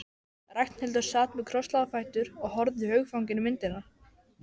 Ragnhildur sat með krosslagða fætur og horfði hugfangin á myndirnar.